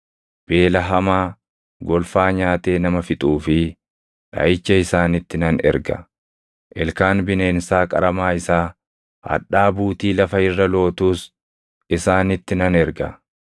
Beela hamaa, golfaa nyaatee nama fixuu fi dhaʼicha isaanitti nan erga; ilkaan bineensaa qaramaa isaa, hadhaa buutii lafa irra lootuus isaanitti nan erga.